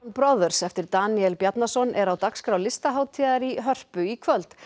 Brothers eftir Daníel Bjarnason er á dagskrá Listahátíðar í Hörpu í kvöld